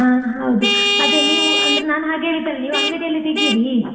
ಹಾ ಹೌದು ನೀವು ಅಂದ್ರೆ, ಹ ನಾನ್ ಹಾಗೆಹೇಳಿದ್ದಲ್ಲ ನೀವ್ ಅಂಗಡಿಲಿ ತೆಗೀರಿ.